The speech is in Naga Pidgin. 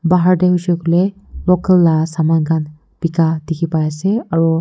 Bahar dae hoishe koile local la saman khan beka dekhey pai ase aro--